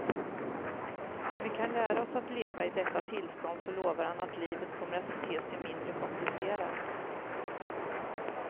Och om vi kan lära oss att leva i detta tillstånd så lovar han att livet kommer att te sig mindre komplicerat.